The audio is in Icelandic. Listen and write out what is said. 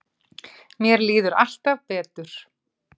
Mér líður alltaf betur.